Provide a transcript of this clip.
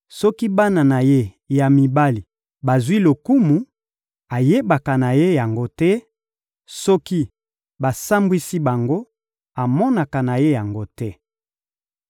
Soki bana na ye ya mibali bazwi lokumu, ayebaka na ye yango te; soki basambwisi bango, amonaka na ye yango te.